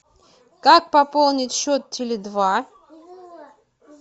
как пополнить счет теле два